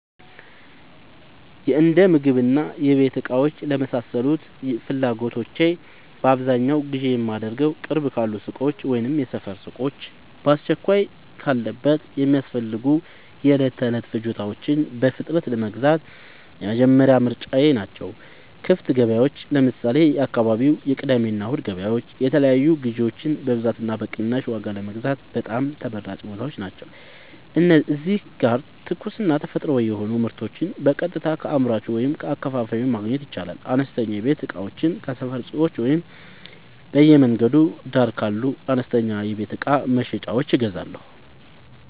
የእንደምግብና የቤት እቃዎች ለመሳሰሉት ፍላጎቶቼ በአብዛኛው ግዢ የማደርገዉ፦ ቅርብ ካሉ ሱቆች (የሰፈር ሱቆች)፦ በአስቸኳይ ለቤት የሚያስፈልጉ የዕለት ተዕለት ፍጆታዎችን በፍጥነት ለመግዛት የመጀመሪያ ምርጫየ ናቸው። ክፍት ገበያዎች (ለምሳሌ፦ የአካባቢው የቅዳሜና እሁድ ገበያዎች) የተለያዩ ግዥዎችን በብዛትና በቅናሽ ዋጋ ለመግዛት በጣም ተመራጭ ቦታዎች ናቸው። እዚህ ጋር ትኩስና ተፈጥሯዊ የሆኑ ምርቶችን በቀጥታ ከአምራቹ ወይም ከአከፋፋዩ ማግኘት ይቻላል። አነስተኛ የቤት እቃዎችን ከሰፈር ሱቆች ወይም በየመንገዱ ዳር ካሉ አነስተኛ የቤት እቃ መሸጫዎች እገዛለሁ።